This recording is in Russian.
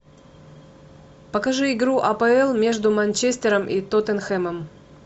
покажи игру апл между манчестером и тоттенхэмом